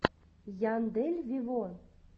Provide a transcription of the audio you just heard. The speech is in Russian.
яндель виво